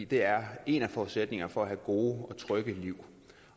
det er en af forudsætningerne for at have gode og trygge liv